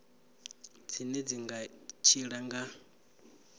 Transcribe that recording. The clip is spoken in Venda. dzine dzi nga tshila nga